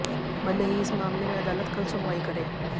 भले ही इस मामले में अदालत कल सुनवाई करे